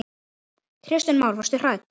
Kristján Már: Varstu hrædd?